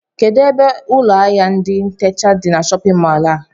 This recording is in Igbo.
Kedụ ebe ụlọ áhiá ndị ntecha dị n'shóppin mol a?